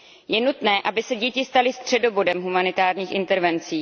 Je nutné, aby se děti staly středobodem humanitárních intervencí.